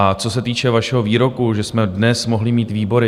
A co se týče vašeho výroku, že jsme dnes mohli mít výbory.